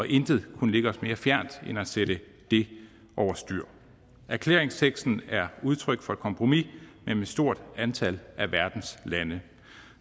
intet kunne ligge os mere fjernt end at sætte det over styr erklæringsteksten er udtryk for et kompromis mellem et stort antal af verdens lande